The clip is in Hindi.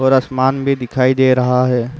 और आसमान भी दिखाई दे रहा है।